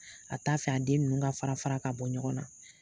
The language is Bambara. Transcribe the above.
A t'a fɛ a den ninnu ka fara-fara ka bɔ ɲɔgɔn na